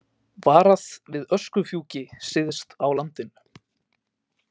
Varað við öskufjúki syðst á landinu